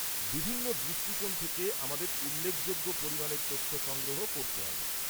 বিভিন্ন দৃষ্টিকোণ থেকে আমাদের উল্লেখযোগ্য পরিমাণের তথ্য সংগ্রহ করতে হবে।